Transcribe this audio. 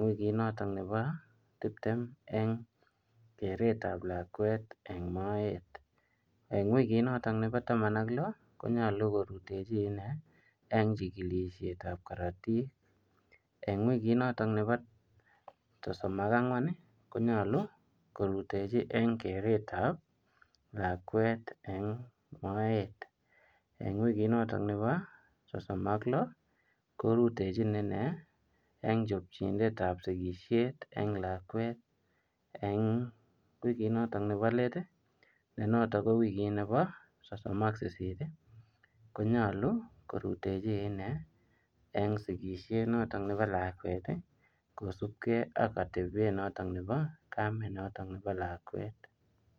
wikiit notoon nebo tipteem eng kereet ab lakwet eng moet eng wikiit notoon nebo taman ak loo Konyaluu korutejii inei eng chikilisheet ab karatiik eng wikiit notoon nebo sosom ak angween ii konyaluu korutechii en keret ab lakwet eng moet eng wikiit notoon nebo sosom ak loo korutejiin inei eng chapjonet ab boisiet eng lakwet eng wikiit notoon nebo leet ii ne notoon ko wikiit nebo soso9ak sisiiit ii konyaluu korutechii inei eng sikisiet nebo lakwet ii kosupkei ak atebeet notoon nebo Kamet ab lakwet.